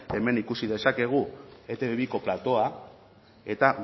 eta hemen ikusi dezakegu etb biko platoa eta